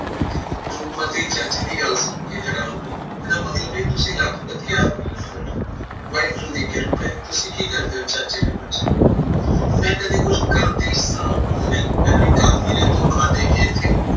ਰੂਪਮਤੀ ਚਾਚੇ ਦੀ ਗੱਲ ਸੁਣ ਕੇ ਹੈਰਾਨ ਹੋਈ ਇਹਦਾ ਮਤਲਬ ਤੁਸੀਂ ਲੱਖਪਤੀ ਓ ਵਾਹਿਗੁਰੂ ਦੀ ਕਿਰਪਾ ਐ ਤੁਸੀਂ ਕੀ ਕਰਦੇ ਓ ਚਾਚੇ ਨੇ ਪੁੱਛਿਆ ਮੈਂ ਕਦੇ ਕੁਝ ਕਰਦੀ ਸਾਂ ਪਰ ਹੁਣ ਮੈਨੂੰ ਇੱਕ ਆਦਮੀ ਨੇ ਧੋਖਾ ਦੇ ਕੇ